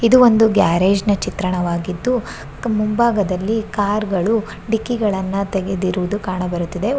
ಇದು ಒಂದು ಗ್ಯಾರೇಜ್ ನ ಚಿತ್ರಣವಾಗಿದ್ದು ಮುಂಬಾಗದಲ್ಲಿ ಕಾರ್ ಗಳು ಡಿಕ್ಕಿಗಳನ್ನ ತೆಗೆದಿರುವುದು ಕಾಣಬರುತ್ತದೆ.